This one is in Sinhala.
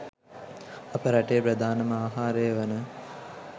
අප රටේ ප්‍රධානම ආහාරය වන